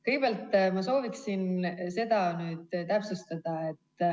Kõigepealt ma soovin seda täpsustada.